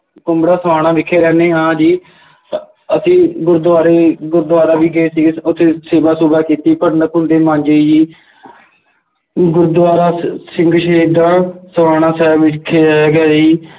ਕੁੰਬੜਾ ਸਮਾਣਾ ਵਿਖੇ ਰਹਿੰਦੇ ਹਾਂ ਜੀ ਅਹ ਅਸੀਂ ਗੁਰਦੁਆਰੇ ਗੁਰਦੁਆਰਾ ਵੀ ਗਏ ਸੀਗੇ, ਉੱਥੇ ਸੇਵਾ ਸੁਵਾ ਕੀਤੀ, ਭਾਂਡੇ ਭੁਂੰਡੇ ਮਾਂਜੇ ਜੀ ਗੁਰਦੁਆਰਾ ਸਿੰਘ ਸ਼ਹੀਦਾਂ ਸਮਾਣਾ ਸਾਹਿਬ ਵਿਖੇ ਹੈਗਾ ਜੀ,